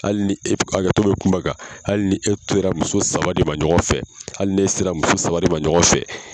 Hali ni e, hakɛto be kuma kan ,hali ni e sera muso saba de ɲɔgɔn fɛ , hali ni e sera muso saba de ma ɲɔgɔn fɛ